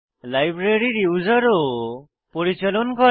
লাইব্রেরীর ইউসারও পরিচালন করে